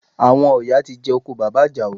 Àwọn ọ̀yà ti jẹ oko bàbá Àjàó